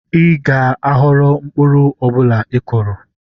Ị ga-aghọrọ mkpụrụ ọ bụla ị kụrụ.